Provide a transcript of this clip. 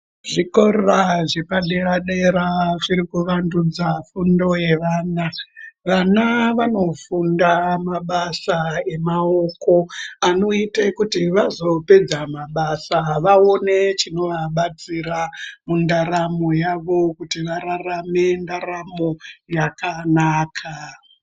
Zvikora zvepadera dera zvirikuvandudza fundo yevana vana vanofunda mabasa emaoko anoyita kuti vazopedza mabasa vaone chinovabatsira mundaramo yavo kuti vararame ndaramo yakanaka.